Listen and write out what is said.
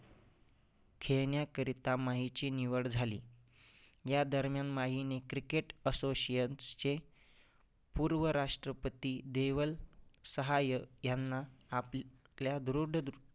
खेळण्याकरीता माहीची निवड झाली. या दरम्यान माहीने cricket association चे पूर्व राष्ट्रपति देवल सहाय्य ह्यांना आपल ल्या दृढ